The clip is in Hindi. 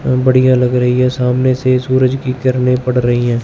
बढ़िया लग रही है सामने से सूरज की किरणें पड़ रही हैं।